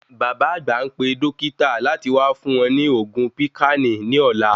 Bàbá àgbà npe dókítà láti wá fún wọn ni oògùn píkánì ní ọ̀la